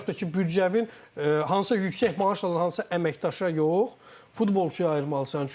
Və yaxud da ki, büdcəvin hansısa yüksək maaş alan hansısa əməkdaşa yox, futbolçuya ayırmalısan.